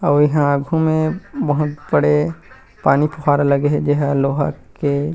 अऊ एहा आघू में बहुत बड़े पानी फ़ुहारा लगे हे जेहा लोहा के--